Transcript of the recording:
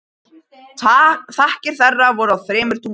Þakkir þeirra voru á þremur tungumálum.